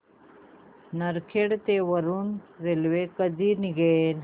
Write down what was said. नरखेड ते वरुड रेल्वे कधी निघेल